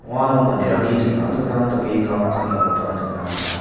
uano manderangni dingtang dingtang dake kam ka·engakoba nikna man·a.